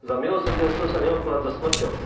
Za milosrdenstvo sa neodpláca smrťou.